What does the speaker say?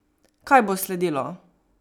Kaj bo sledilo?